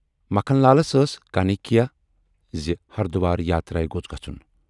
مکھن لالس ٲس کانکھیا زِ ہردُوار یاترایہِ گوژھ گَژھُن۔